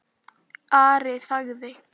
Ari þagði.